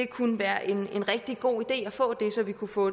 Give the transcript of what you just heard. kunne være en rigtig god idé at få det så vi kunne få